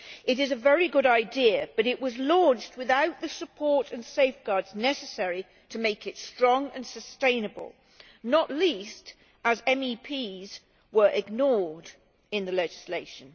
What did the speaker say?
It is a very good idea, but it was launched without the support and safeguards necessary to make it strong and sustainable, not least as MEPs were ignored in the legislation.